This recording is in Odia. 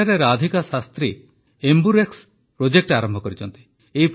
ସେଠାରେ ରାଧିକା ଶାସ୍ତ୍ରୀ ଏମ୍ବୁରେକ୍ସ ପ୍ରୋଜେକ୍ଟ ଆରମ୍ଭ କରିଛନ୍ତି